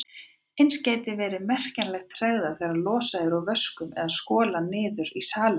Eins gæti verið merkjanleg tregða þegar losað er úr vöskum eða skolað niður í salernum.